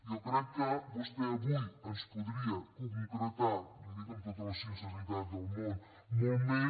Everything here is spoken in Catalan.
jo crec que vostè avui ens podria concretar li ho dic amb tota la sinceritat del món molt més